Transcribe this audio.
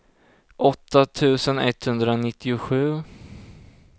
åtta tusen etthundranittiosju